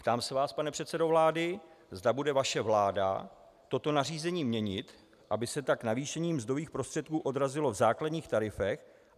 Ptám se, vás, pane předsedo vlády, zda bude vaše vláda toto nařízení měnit, aby se tak navýšení mzdových prostředků odrazilo v základních tarifech.